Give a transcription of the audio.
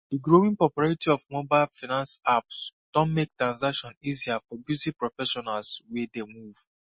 di growing popularity of mobile finance apps don make transactions easier for busy professionals wey dey move